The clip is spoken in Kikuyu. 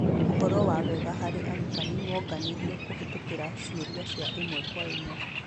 ũhoro wa wega hari arutani wonganirio kũhetũkĩra ciũria cia ĩmwe kwa ĩmwe.